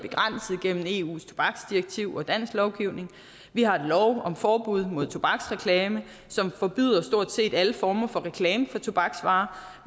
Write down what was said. og begrænset gennem eus tobaksdirektiv og dansk lovgivning vi har en lov om forbud mod tobaksreklame som forbyder stort set alle former for reklame for tobaksvarer